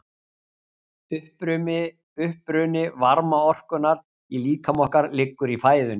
Uppruni varmaorkunnar í líkama okkar liggur í fæðunni.